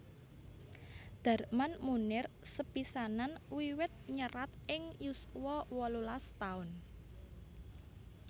Darman Moenir sepisanan wiwit nyerat ing yuswa wolulas taun